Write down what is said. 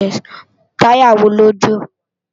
Tàyá wó ló jó?